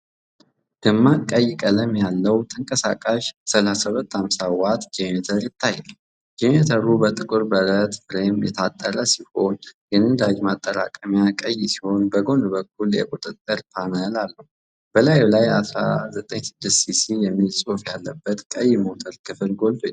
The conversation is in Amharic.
ደማቅ ቀይ ቀለም ያለው ተንቀሳቃሽ 3250 ዋት ጀነሬተር ይታያል። ጀነሬተሩ በጥቁር ብረት ፍሬም የታጠረ ሲሆን፤ የነዳጅ ማጠራቀሚያው ቀይ ሲሆን በጎን በኩል የቁጥጥር ፓነል አለው። በላዩ ላይ "196ሲሲ" የሚል ጽሑፍ ያለበት ቀይ ሞተር ክፍል ጎልቶ ይታያል።